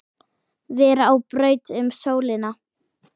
vera á braut um sólina